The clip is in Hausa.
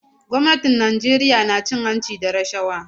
Gwamnatin Najeriya na cin hanci da rashawa.